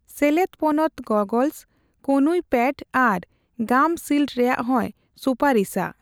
ᱥᱮᱞᱮᱫ ᱯᱚᱱᱚᱛ ᱜᱚᱜᱚᱞᱥ, ᱠᱚᱱᱩᱭ ᱯᱮᱰ ᱟᱨ ᱜᱟᱢ ᱥᱤᱞᱰ ᱨᱮᱭᱟᱜ ᱦᱚᱸᱭ ᱥᱩᱯᱟᱨᱤᱥᱟ᱾